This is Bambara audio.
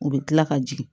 U bɛ kila ka jigin